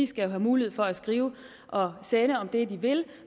skal jo have mulighed for at skrive og sende om det de vil